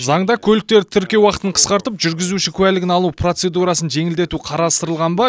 заңда көліктерді тіркеу уақытын қысқартып жүргізуші куәлігін алу процедурасын жеңілдету қарастырылған ба